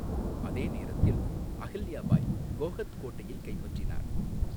அதே நேரத்தில், அஹில்யா பாய் கோஹத் கோட்டையைக் கைப்பற்றினார்.